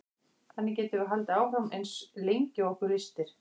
þannig getum við haldið áfram eins lengi og okkur lystir